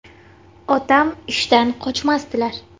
Otam ishdan qochmasdilar.